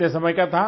कितने समय का था